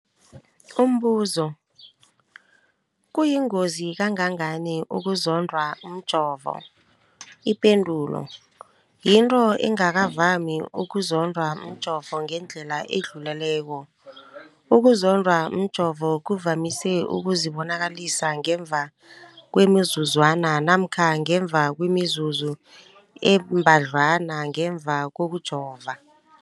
Umbuzo, kuyingozi kangangani ukuzondwa mjovo? Ipendulo, yinto engakavami ukuzondwa mjovo ngendlela edluleleko. Ukuzondwa mjovo kuvamise ukuzibonakalisa ngemva kwemizuzwana namkha ngemva kwemizuzu embadlwana ngemva kokujova.